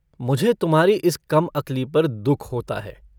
मुझे तुम्हारी इस कमअकली पर दुःख होता है।